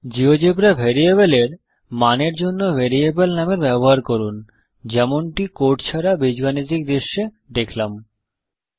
GeoGebra ভেরিয়েবলের মানের জন্য ভেরিয়েবল নামের ব্যবহার করুন যেমনটি কোট ছাড়া বীজগাণিতিক দৃশ্যে এলজেব্রা ভিউ দেখলাম